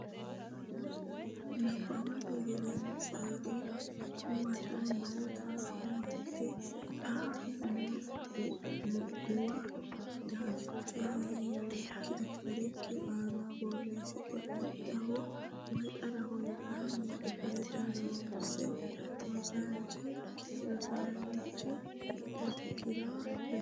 Nabbawate Gedensiidi Huwato noota huwatote xa muwa daftarikki aana borreessite Addaho woy Xaraho yitanni kifilete loosse rosiisaanchi okkira leellishi Nabbawate.